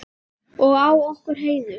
Og á okkur Heiðu.